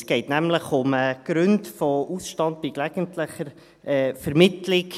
Es geht nämlich um die Gründe für einen Ausstand bei gelegentlicher Vermittlung.